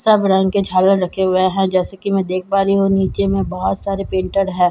सब रंग के झालर रखे हुए हैं जैसे की मैं देख पा रही हूँ नीचे में बोहोत सारे प्रिंटर है।